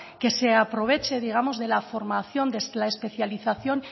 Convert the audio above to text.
que se aproveche digamos de la formación de la especialización